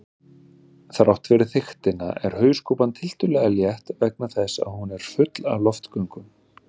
Þrátt fyrir þykktina er hauskúpan tiltölulega létt vegna þess að hún er full af loftgöngum.